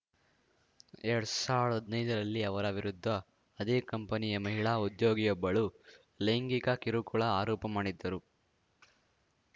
ಎರಡ್ ಸಾವ್ರ್ದ ಹದ್ನೈದರಲ್ಲಿ ಅವರ ವಿರುದ್ಧ ಅದೇ ಕಂಪನಿಯ ಮಹಿಳಾ ಉದ್ಯೋಗಿಯೊಬ್ಬಳು ಲೈಂಗಿಕ ಕಿರುಕುಳ ಆರೋಪ ಮಾಡಿದ್ದರು